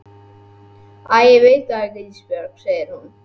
Æ ég veit það ekki Ísbjörg, segir hún.